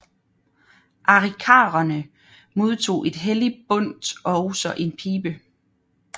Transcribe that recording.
Arikaraerne modtog et helligt bundt og også en pibe